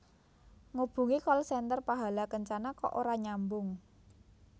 Ngubungi call center Pahala Kencana kok ora nyambung